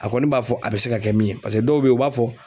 A kɔni b'a fɔ a bɛ se ka kɛ min ye paseke dɔw bɛ ye u b'a fɔ